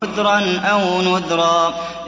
عُذْرًا أَوْ نُذْرًا